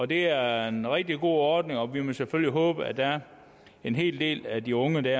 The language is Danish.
det er en rigtig god ordning og vi må selvfølgelig håbe at der er en hel del af de unge der